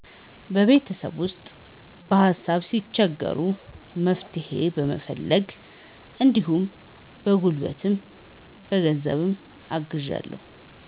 በቤተሰቤ ውስጥ በሀሳብ ሲቸገሩ መፍትሄ በመፈለግ እንዲሁም በጉልበትም በ ገንዘብም አግዛለሁ።